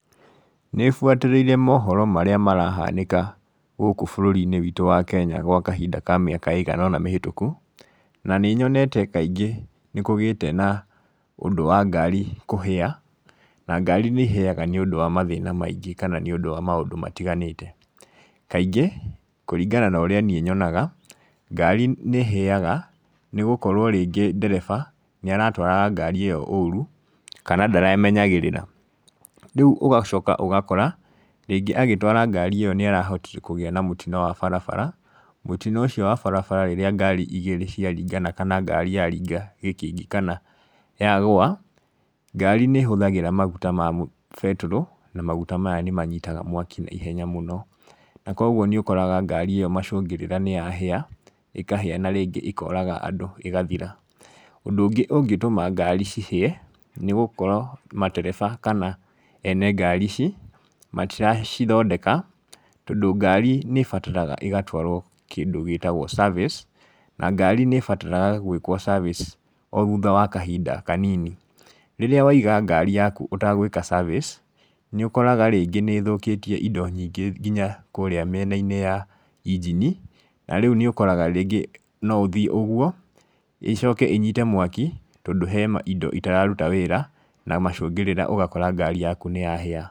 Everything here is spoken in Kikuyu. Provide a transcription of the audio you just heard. Nĩ buatĩrĩire mohoro marĩa marahanĩka gũkũ bũrũri-inĩ witũ wa Kenya gwa kahinda ka mĩaka ĩigana ũna mĩhĩtũku, na nĩ nyonete kaingĩ nĩ kũgĩte na ũndũ wa ngaari kũhĩa, na ngaari nĩ ihĩaga nĩũndũ wa mathĩna maingĩ kana nĩundũ wa maũndũ matiganĩte, kaingĩ kũringana norĩa niĩ nyonaga, ngaari nĩ ĩhĩaga nĩ gũkorwo rĩngĩ ndereba nĩ aratwaraga ngaari ĩyo ũru kana ndaremenyagĩrĩra. Rĩu ũgacoka ũgakora rĩngĩ agĩtwara ngaari ĩyo nĩ arahotire kũgĩa na mũtino wa barabara, mũtino ũcio wa barabara rĩrĩa ngaari igĩrĩ ciaringana kana ngaari yaringa gĩkĩngĩ kana yagũa, ngaari nĩ ĩhũthagĩra maguta ma betũrũ na maguta maya nĩ manyitaga mwaki naihenya mũno, na koguo nĩ ũkoraga ngaari ĩyo macungĩrĩra nĩ yahĩa, ĩkahĩa na rĩngĩ ĩkoraga andũ ĩgathira. Ũndũ ũngĩ ũngĩtũma ngaari cihĩe, nĩ gũkorwo matereba kana ene ngaari ici, matiracithondeka tondũ ngaari nĩ ibataraga igatwarwo kĩndũ gĩtagwo service na ngaari nĩ ĩbataraga gwĩkwo service o thutha wa kahinda kanini. Rĩrĩa waiga ngaari yaku ũtagwĩka service, nĩ ũkoraga rĩngĩ nĩ ĩthũkĩtie indo nyingĩ nginya kũrĩa mĩenainĩ ya injini, na rĩu nĩ ũkoraga rĩngĩ no ũthiĩ ũguo, ĩcoke ĩnyite mwaki tondũ he indo itararuta wĩra, na macũngĩrĩra ũgakora ngaari yaku nĩ yahĩa.